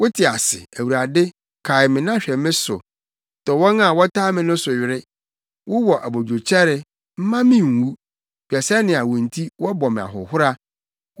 Wote ase, Awurade; kae me na hwɛ me so. Tɔ wɔn a wɔtaa me no so were. Wowɔ abodwokyɛre, mma me nwu; hwɛ sɛnea wo nti wɔbɔ me ahohora.